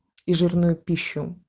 и жирную пищу